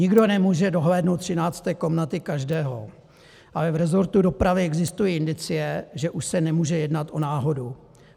Nikdo nemůže dohlédnout 13. komnaty každého, ale v rezortu dopravy existují indicie, že už se nemůže jednat o náhodu.